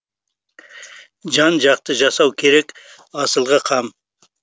жан жақты жасау керек асылға қам